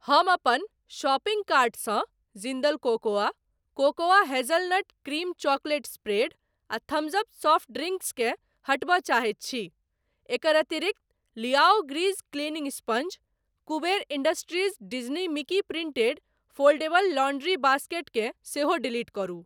हम अपन शॉपिंग कार्टसँ Jindal cocoa, cocoa hazelnut cream chocolate spread आ थम्स अप सॉफ्ट ड्रिंक्स केँ हटबय चाहैत छी । एकर अतिरिक्त Liao grease cleaning sponge, Kuber Industries Disney Mickey printed foldable laundry basket केँ सेहो डिलीट करू।